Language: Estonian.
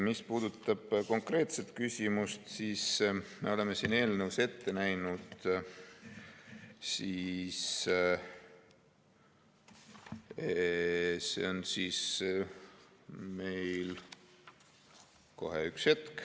Mis puudutab konkreetset küsimust, siis me oleme siin eelnõus ette näinud järgmist.